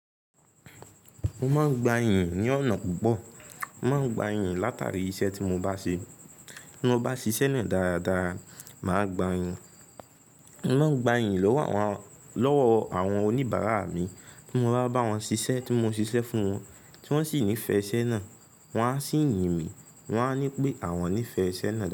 Mo máa ń gba iyìn ní ọ̀nà púpọ̀. Mo máa ń gba iyì látàrí iṣẹ́ tí mo bá ṣe. Bí mo bá ṣíṣe náà dáradára, màá gba iyìn. Mo máa ń gba iyìn lọ́wọ́ àwọn oníbàárà mi tí mo bá bá wọn sisẹ́, tí mo sisẹ́ fún wọn, tí wọ́n sì nífẹ̀ẹ́ isẹ́ náà. Wọ́n á sì yin mi, wọ́n á ní pé àwọn nífẹ̀ẹ́ isẹ́ náà dáadáa.